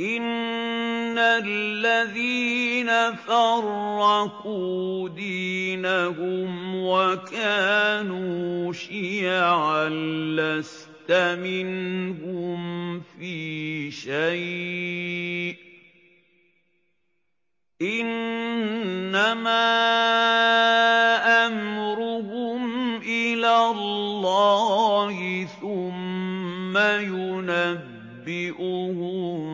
إِنَّ الَّذِينَ فَرَّقُوا دِينَهُمْ وَكَانُوا شِيَعًا لَّسْتَ مِنْهُمْ فِي شَيْءٍ ۚ إِنَّمَا أَمْرُهُمْ إِلَى اللَّهِ ثُمَّ يُنَبِّئُهُم